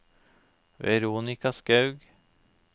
Veronica Skaug